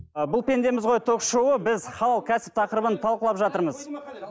ы бұл пендеміз ғой ток шоуы біз халал кәсіп тақырыбын талқылап жатырмыз